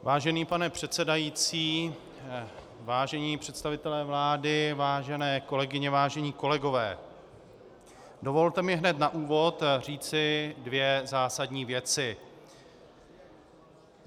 Vážený pane předsedající, vážení představitelé vlády, vážené kolegyně, vážení kolegové, dovolte mi hned na úvod říci dvě zásadní věci.